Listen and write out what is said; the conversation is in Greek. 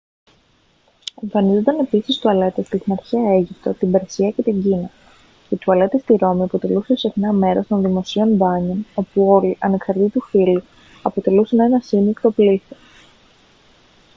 εμφανίζονταν επίσης τουαλέτες και στην αρχαία αίγυπτο την περσία και την κίνα οι τουαλέτες στη ρώμη αποτελούσαν συχνά μέρος των δημοσίων μπάνιων όπου όλοι ανεξαρτήτου φύλου αποτελούσαν ένα σύμμικτο πλήθος